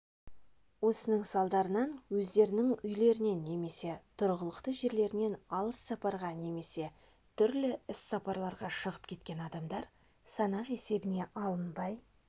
осының салдарынан өздерінің үйлерінен немесе тұрғылықты жерлерінен алыс сапарға немесе түрлі іссапарларға шығып кеткен адамдар санақ есебіне алынбай